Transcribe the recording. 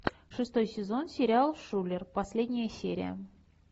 шестой сезон сериал шулер последняя серия